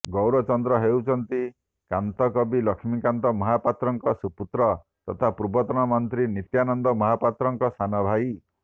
ଗୌରଚନ୍ଦ୍ର ହେଉଛନ୍ତି କାନ୍ତକବି ଲକ୍ଷ୍ମୀକାନ୍ତ ମହାପାତ୍ରଙ୍କ ସୁପୁତ୍ର ତଥା ପୂର୍ବତନ ମନ୍ତ୍ରୀ ନିତ୍ୟାନନ୍ଦ ମହାପାତ୍ରଙ୍କ ସାନଭାଇ